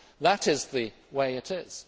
That is the way it is.